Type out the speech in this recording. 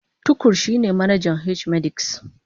Tukur shine manajan H-medics